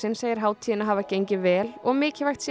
segir hátíðina hafa gengið vel og mikilvægt sé